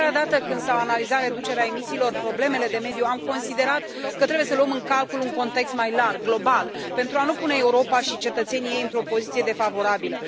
De fiecare dată când s au analizat reducerea emisiilor, problemele de mediu, am considerat că trebuie să luăm în calcul un context mai larg, global, pentru a nu pune Europa și cetățenii ei într o poziție defavorabilă.